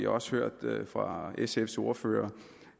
også hørt fra sfs ordfører